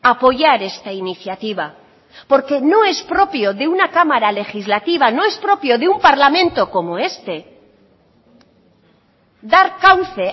apoyar esta iniciativa porque no es propio de una cámara legislativa no es propio de un parlamento como este dar cauce